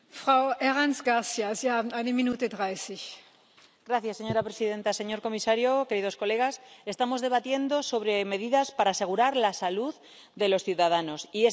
Señora presidenta, señor comisario, queridos colegas, estamos debatiendo sobre medidas para asegurar la salud de los ciudadanos, y esa salud se asegura controlando el medio ambiente y la alimentación.